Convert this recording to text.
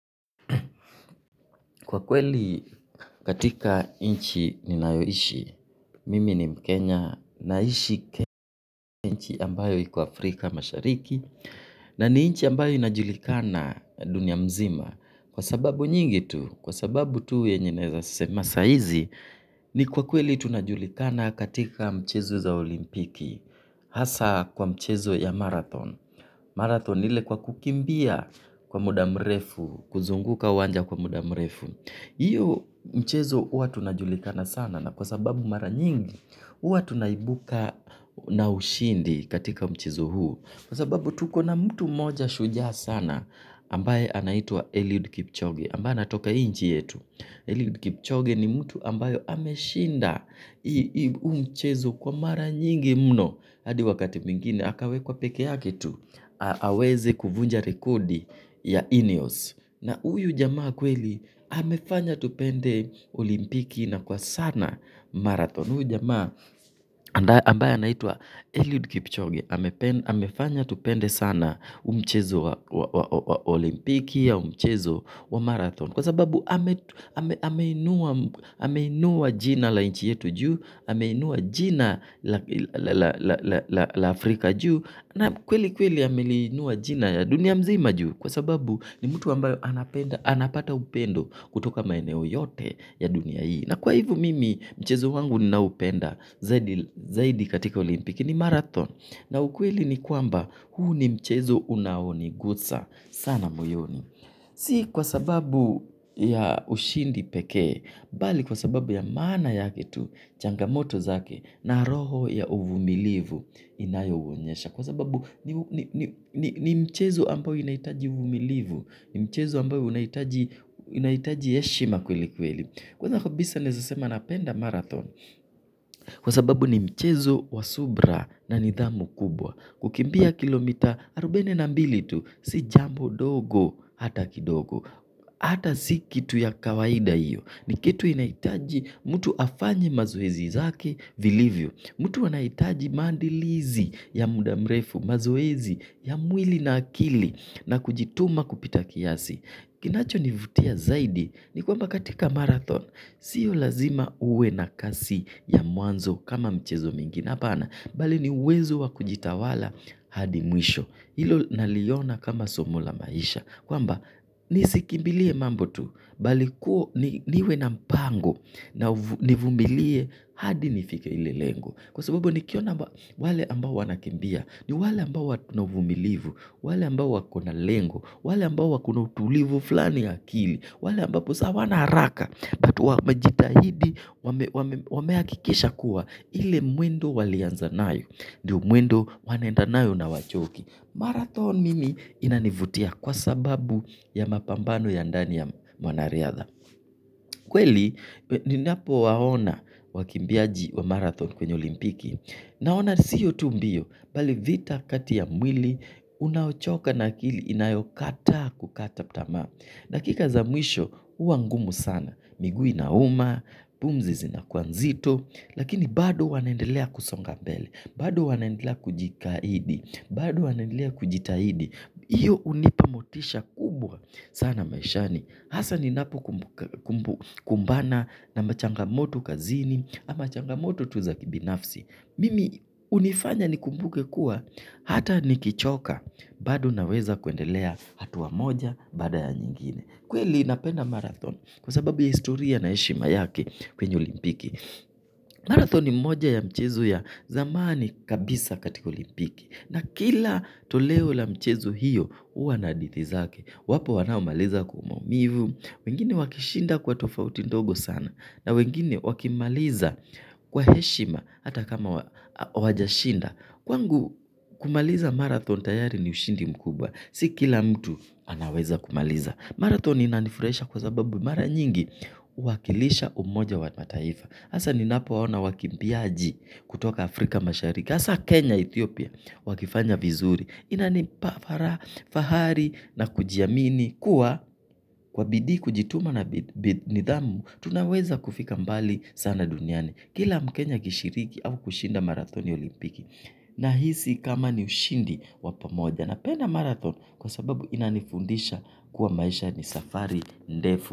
Kwa kweli katika nchi ninayoishi, mimi ni mkenya, naishi kenchi ambayo iko Afrika mashariki, na ni inchi ambayo inajulikana dunia mzima, kwa sababu nyingi tu, kwa sababu tu yenye naeza sema sa hizi, ni kwa kweli tunajulikana katika mchezo za olimpiki, hasa kwa mchezo ya marathon, marathon ile kwa kukimbia kwa muda mrefu, kuzunguka uwanja kwa muda mrefu. Hiyo mchezo huwa tunajulikana sana kwa sababu mara nyingi huwa tunaibuka na ushindi katika mchezo huu. Kwa sababu tuko na mtu mmoja shujaa sana ambaye anaitwa Eliud Kipchoge, ambaye anatoka inchi yetu. Eliud Kipchoge ni mtu ambayo ameshinda huu mchezo kwa mara nyingi mno. Hadi wakati mwingine, akawekwa peke yake tu, aweze kuvunja rekodi ya Ineos. Na huyu jamaa kweli, amefanya tupende olimpiki na kwa sana marathon. Huyu jamaa ambaye anaitwa Eliud Kipchoge, amefanya tupende sana huu mchezo wa olimpiki au mchezo wa marathon. Kwa sababu ameinua jina la nchi yetu juu, ameinua jina la Afrika juu, na kweli kweli ameinua jina ya dunia mzima juu. Kwa sababu ni mtu ambayo anapata upendo kutoka maeneo yote ya dunia hii. Na kwa hivo mimi mchezo wangu ninaupenda zaidi katika olimpiki ni marathon. Na ukweli ni kwamba huu ni mchezo unaonigusa sana moyoni. Si kwa sababu ya ushindi pekee, bali kwa sababu ya maana yake tu changamoto zake na roho ya uvumilivu inayouonyesha. Kwa sababu ni mchezo ambayo inahitaji uvumilivu. Ni mchezo ambao inahitaji heshima kweli kweli. Kwa sababu ni mchezo wa subra na nidhamu kubwa. Kukimbia kilomita arubaine na mbili tu. Si jambo dogo hata kidogo. Hata si kitu ya kawaida hiyo. Ni kitu inahitaji mtu afanye mazoezi zake vilivyo. Mtu anahitaji maandilizi ya muda mrefu, mazoezi ya mwili na akili na kujituma kupita kiasi. Kinachonivutia zaidi ni kwamba katika marathon. Sio lazima uwe na kasi ya mwanzo kama michezo mingi. Hapana, bali ni uwezo wa kujitawala hadi mwisho. Ilo naliona kama somo la maisha. Kwamba, nisikimbilie mambo tu, bali kuwa niwe na mpango, na nivumilie hadi nifike ile lengo. Kwa sababu nikiona wale ambao wanakimbia, ni wale ambao wako na vumilivu, wale ambao wako na lengo, wale ambao wako na utulivu flani ya akili, wale ambao wako na utulivu flani ya akili, wale ambao wakona hawana haraka. Watu wamejitahidi wamehakikisha kuwa ile mwendo walianza nayo ndio mwendo wanaenda nayo na hawachoki. Marathon mimi inanivutia kwa sababu ya mapambano ya ndani ya wanariadha. Kweli, ninapowaona wakimbiaji wa marathon kwenye olimpiki naona siyo tu mbio, bali vita kati ya mwili unaochoka na akili inayokataa kukata tamaa. Dakika za mwisho, huwa ngumu sana. Miguu inauma, pumzi zinakuwa nzito. Lakini bado huwa naendelea kusonga mbele. Bado wanaendelea kujikaidi. Bado wanaendelea kujitahidi. Hiyo hunipa motisha kubwa sana maishani. Hasa ninapokumbana na machangamoto kazini, ama machangamoto tu za kibinafsi. Mimi hunifanya nikumbuke kuwa, hata nikichoka, bado naweza kuendelea hatua moja baada ya nyingine. Kweli napenda marathon kwa sababu ya historia na heshima yake kwenye olimpiki. Marathon ni moja ya mchezo ya zamani katika olimpiki na kila toleo la mchezo hiyo, huwa na hadithi zake. Wapo wanaomaliza kwa maumivu. Wengine wakishinda kwa tofauti ndogo sana. Na wengine wakimaliza kwa heshima, hata kama wajashinda. Kwangu kumaliza marathon tayari ni ushindi mkubwa. Si kila mtu anaweza kumaliza. Marathon inanifuraisha kwa sababu mara nyingi. Huwakilisha umoja wa mataifa haa ninapoona wakimbiaji kutoka Afrika mashariki hasa Kenya, Ethiopia, wakifanya vizuri, inanipa fara, fahari na kujiamini kuwa kwa bidii kujituma na nidhamu, tunaweza kufika mbali sana dunyani. Kila mkenya akishiriki au kushinda marathoni ya olimpiki nahisi kama ni ushindi wa pamoja napenda marathon kwa sababu inanifundisha kuwa maisha ni safari ndefu.